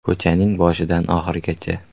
Ko‘chaning boshidan oxirigacha.